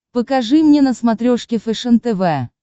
покажи мне на смотрешке фэшен тв